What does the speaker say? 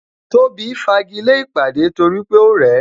Tóbi fagile ìpàdé torí pé ó rẹ̀ ẹ